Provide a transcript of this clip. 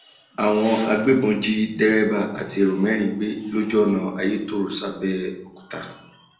àwọn agbébọn jí dèrèbà àti èrò mẹrin um gbé lójú ọnà ayétọrẹ sàbẹọkúta um